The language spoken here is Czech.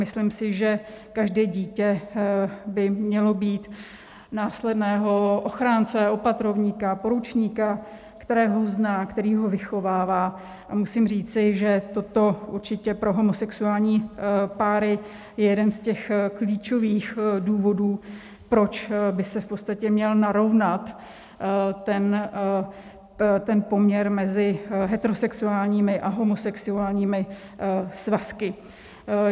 Myslím si, že každé dítě by mělo mít následného ochránce, opatrovníka, poručníka, kterého zná, který ho vychovává, a musím říci, že toto určitě pro homosexuální páry je jeden z těch klíčových důvodů, proč by se v podstatě měl narovnat ten poměr mezi heterosexuálními a homosexuálními svazky.